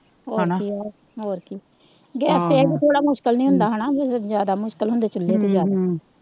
ਹੋਰ ਕੀ ਆ ਹੋਰ ਕੀ ਗੈਸ ਤੇ ਇਹ ਕੀ ਥੋੜ੍ਹਾ ਮੁਸ਼ਕਿਲ ਨਹੀਂ ਹੁੰਦਾ ਹੇਨਾ ਚੁੱਲ੍ਹੇ ਤੇ ਜਿਆਦਾ